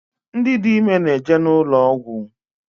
Ndị dị ime na-eje n’ụlọ ọgwụ